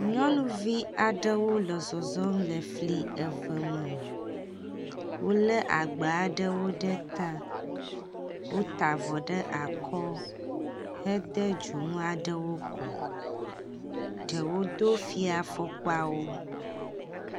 Nyɔnuvi aɖewo le zɔzɔm le fli eve me. Wo le agba aɖewo ɖe ta. Wota avɔ ɖe akɔ hede dzonu aɖewo kɔ. Ɖewo do fiafɔkpawo.